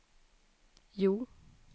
Hjo